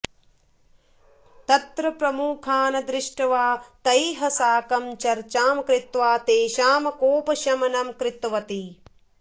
तत्र प्रमुखान् दृष्ट्वा तैः साकं चर्चां कृत्वा तेषां कोपशमनं कृतवती